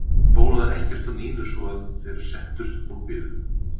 Það bólaði ekkert á Nínu svo að þeir settust og biðu.